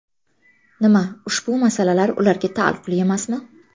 Nima ushbu masalalar ularga taalluqli emasmi?